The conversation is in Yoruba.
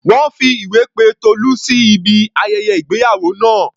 Wọ́n fi ìwé pe Tolú sí ibi ayẹyẹ ìgbéyàwó náà.